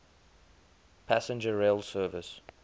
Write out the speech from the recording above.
passenger rail service